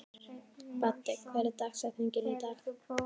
Baddi, hver er dagsetningin í dag?